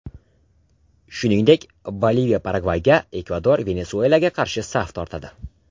Shuningdek, Boliviya Paragvayga, Ekvador Venesuelaga qarshi saf tortadi.